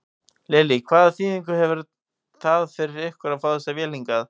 Lillý: Hvaða þýðingu hefur það fyrir ykkur að fá þessa vél hingað?